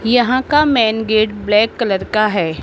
यहां का main gate black colour का है।